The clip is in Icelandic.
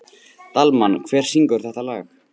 Dalmann, hver syngur þetta lag?